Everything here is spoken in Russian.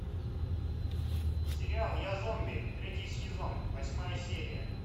сериал я зомби третий сезон восьмая серия